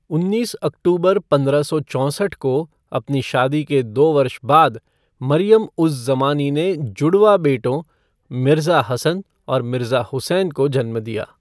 उन्नीस अक्टूबर पंद्रह सौ चौंसठ को, अपनी शादी के दो वर्ष बाद, मरियम उज़ ज़मानी ने जुड़वाँ बेटों, मिर्ज़ा हसन और मिर्ज़ा हुसैन को जन्म दिया।